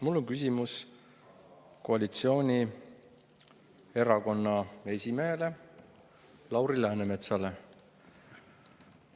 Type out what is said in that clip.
Mul on koalitsioonierakonna esimehele Lauri Läänemetsale.